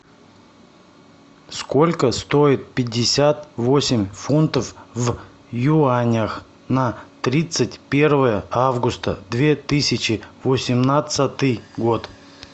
сколько стоит пятьдесят восемь фунтов в юанях на тридцать первое августа две тысячи восемнадцатый год